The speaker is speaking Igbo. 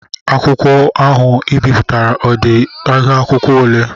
Akwụkwọ ahụ I bipụtara ọ dị ihuakwụkwọ ole?